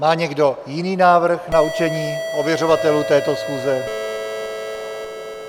Má někdo jiný návrh na určení ověřovatelů této schůze?